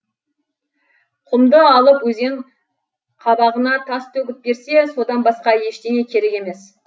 құмды алып өзен қабағына тас төгіп берсе содан басқа ештеңе керек емес